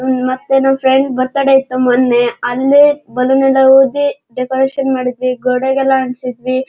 ಮತ್ತೆ ನಮ್ friend birthday ಇತ್ತು ಮೊನ್ನೆ. ಅಲ್ಲೇ ಬಲೂನ್ ಎಲ್ಲ ಊದಿ ಡೆಕೋರೇಷನ್ ಮಾಡಿದ್ವಿ ಗೋಡೆಗೆಲ್ಲ ಅಂಟಿಸಿದ್ವಿ.